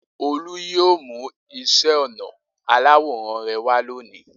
Olú yóò mú iṣẹ́-ọnà aláwòrán rẹ wá lónìí.